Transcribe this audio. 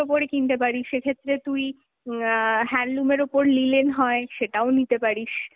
ওপরে কিনতে পারিস, সেক্ষেত্রে তুই অ্যাঁ handloom এর ওপর linen হয় সেটাও নিতে পারিস।